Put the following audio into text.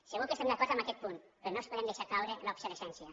segur que estem d’acord amb aquest punt però no els podem deixar caure en l’obsolescència